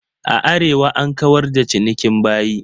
A Arewa an kawar da cinikin bayi.